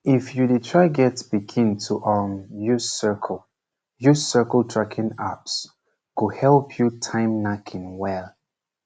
if you dey try get pikin to um use cycle use cycle tracking apps go help you time knacking well